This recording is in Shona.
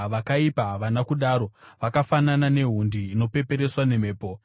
Vakaipa havana kudaro! Vakafanana nehundi inopepereswa nemhepo.